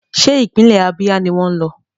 Ṣé ìpínlẹ̀ Ábíà ni wọ́n ń lọ?